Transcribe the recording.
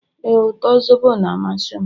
ee, uto zobo na-amasị m